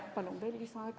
Lisaaega saab!